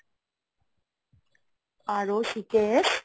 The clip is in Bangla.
rojks